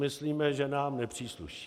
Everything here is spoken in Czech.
Myslíme si, že nám nepřísluší.